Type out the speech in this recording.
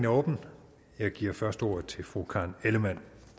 åbnet jeg giver først ordet til fru karen ellemann